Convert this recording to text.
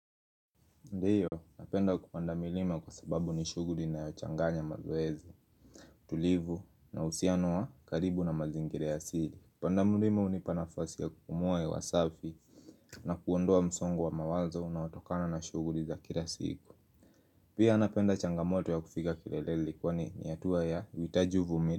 Ndio, napenda kupanda milima kwa sababu ni shuguli inayochanganya mazoezi tulivu na uhusianoa wa karibu na mazingira ya asili Kupanda mlima unipa nafasi ya kupumua hewa safi na kuondoa msongo wa mawazo unaotokana na shuguli za kila siku Pia napenda changamoto ya kufika kileleli kwani ni hatua ya uhitaji uvumi.